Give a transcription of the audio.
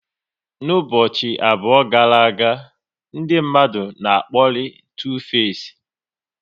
N'ụbọchị abụọ gara aga, ndị mmadụ na akpori Tu face